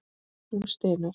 Hún stynur.